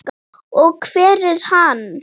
Og hver er hann?